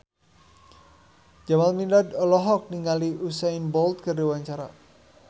Jamal Mirdad olohok ningali Usain Bolt keur diwawancara